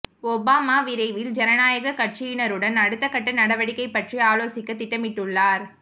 Obama விரைவில் ஜனநாயகக் கட்சியினருடன் அடுத்த கட்ட நடவடிக்கை பற்றி ஆலோசிக்கத் திட்டமிட்டுள்ளார்